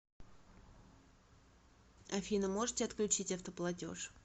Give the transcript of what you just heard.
афина можете отключить автоплатежь